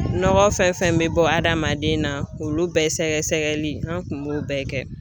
Nɔgɔ fɛn fɛn bɛ bɔ adamaden na k'olu bɛɛ sɛgɛsɛgɛli an tun b'o bɛɛ kɛ